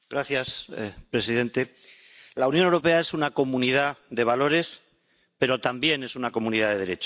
Señor presidente, la Unión Europea es una comunidad de valores, pero también es una comunidad de Derecho.